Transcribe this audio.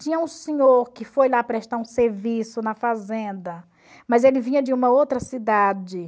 Tinha um senhor que foi lá prestar um serviço na fazenda, mas ele vinha de uma outra cidade.